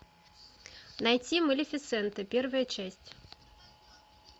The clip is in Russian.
найти малефисента первая часть